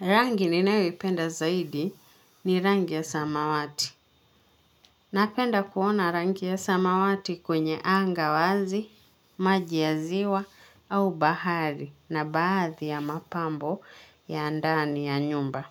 Rangi ninayoipenda zaidi ni rangi ya samawati. Napenda kuona rangi ya samawati kwenye anga wazi, maji ya ziwa au bahari na baadhi ya mapambo ya ndani ya nyumba.